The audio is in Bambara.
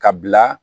Ka bila